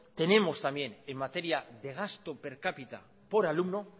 tenemos también en materia de gasto per cápita por alumno